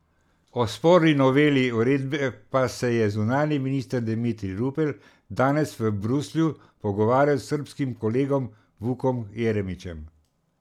O sporni noveli uredbe pa se je zunanji minister Dimitrij Rupel danes v Bruslju pogovarjal s srbskim kolegom Vukom Jeremićem.